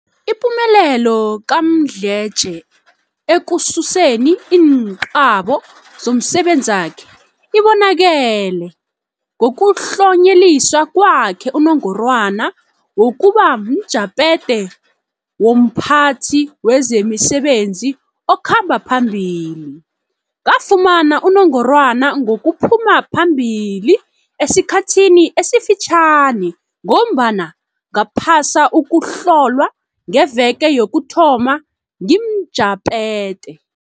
Ipumelelo kaMdletshe ekususeni iinqabo zomsebenzakhe ibonakele ngokutlonyeliswa kwakhe unongorwana wokuba mjaphethe womphathi wezemisebenzi okhamba phambili. Ngafumana unongorwana ngokuphuma phambili esikhathini esifitjhani ngombana ngaphasa uku hlolwa ngeveke yokuthoma ngimjaphethe.